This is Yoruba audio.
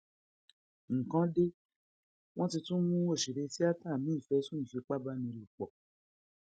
nǹkan dé wọn ti tún mú òṣèré tíátà míín fẹsùn ìfipábánilòpọ